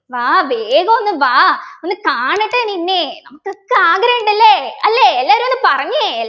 വാ വേഗം ഒന്ന് വാ ഒന്ന് കാണട്ടെ നിന്നെ നമുക്ക് ഒക്കെ ആഗ്രഹമുണ്ടല്ലെ അല്ലെ എല്ലരും ഒന്ന് പറഞ്ഞെ